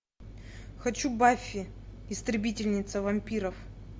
хочу баффи истребительница вампиров